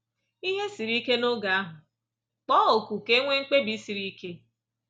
Ihe siri ike n’oge ahụ, kpọọ oku ka e nwee mkpebi siri ike.